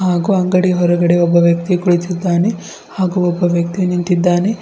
ಹಾಗೂ ಅಂಗಡಿ ಹೊರಗಡೆ ಒಬ್ಬ ವ್ಯಕ್ತಿ ಕುಳಿತಿದ್ದಾನೆ ಹಾಗೂ ಒಬ್ಬ ವ್ಯಕ್ತಿ ನಿಂತಿದ್ದಾನೆ.